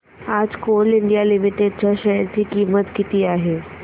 आज Coal India Limited च्या share ची किंमत किती आहे